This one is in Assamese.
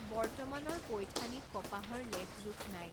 বৰ্তমানৰ পৈথানীত কপাহৰ লেখ জোখ নাই।